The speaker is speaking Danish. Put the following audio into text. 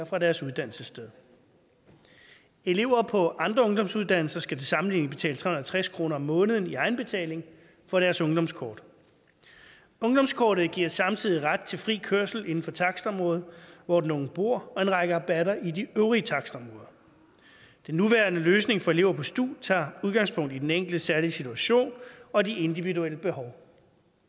fra deres uddannelsessted elever på andre ungdomsuddannelser skal til sammenligning betale tre hundrede og tres kroner om måneden i egenbetaling for deres ungdomskort ungdomskortet giver samtidig ret til fri kørsel inden for takstområdet hvor den unge bor og en række rabatter i de øvrige takstområder den nuværende løsning for elever på stu tager udgangspunkt i den enkeltes særlige situation og de individuelle behov